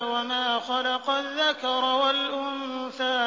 وَمَا خَلَقَ الذَّكَرَ وَالْأُنثَىٰ